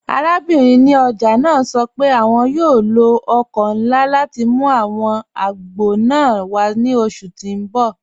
Àràbìnrin ní ọjà naa sọ pé àwọn yóò lọ ọkọ̀ nlá láti mú àwọn àgbọ̀ naa wà ni oṣù tí n bọ̀.